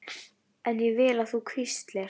En ég vil að þú hvílist.